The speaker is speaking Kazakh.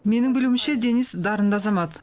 менің білуімше денис дарынды азамат